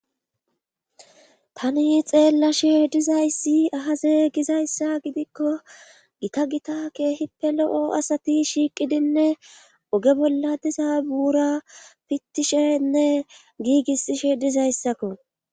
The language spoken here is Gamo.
tani xeellashe dizayssi ahaze gizayssa gidikko gita gita keehippe lo7o asati shiiqidinne oge bolla diza buura pittishenne giigissishe dizayssakko